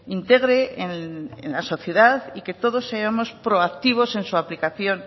integre en la sociedad y que todos seamos proactivos en su aplicación